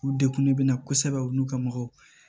U degunnen bɛ na kosɛbɛ u n'u ka mɔgɔw